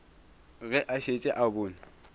ge a šetše a bone